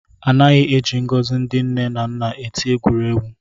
Anaghị eji ngọzi ndị nne na nna eti egwuregwu